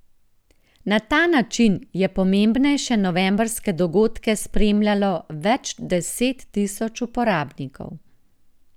Na ta način je pomembnejše novembrske dogodke spremljalo več deset tisoč uporabnikov.